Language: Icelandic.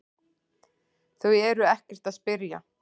Þau eru ekkert að spyrja